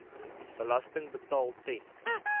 belasting betaal ten